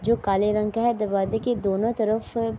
جو کالے رنگ کا ہے اور دروازے کے دونو طرف--